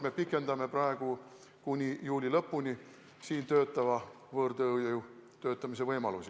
Me pikendame praegu kuni juuli lõpuni siin töötava võõrtööjõu töötamise võimalusi.